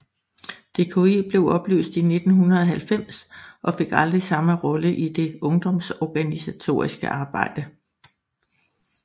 DKU blev opløst i 1990 og fik aldrig samme rolle i det ungdomsorganisatoriske arbejde